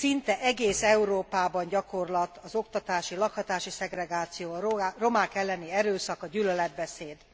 Szinte egész Európában gyakorlat az oktatási, lakhatási szegregáció, a romák elleni erőszak, a gyűlöletbeszéd.